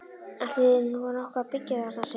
Ætli þýði nú nokkuð að byggja þarna? segir hann.